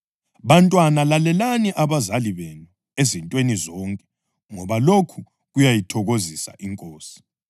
Bantwana, lalelani abazali benu ezintweni zonke ngoba lokhu kuyayithokozisa iNkosi.